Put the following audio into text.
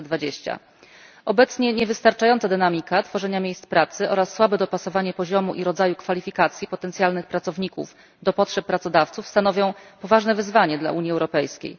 2020. Obecnie niewystarczająca dynamika tworzenia miejsc pracy oraz słabe dopasowanie poziomu i rodzaju kwalifikacji potencjalnych pracowników do potrzeb pracodawców stanowią poważne wyzwanie dla Unii Europejskiej.